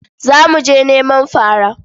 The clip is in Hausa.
Za mu je neman fara.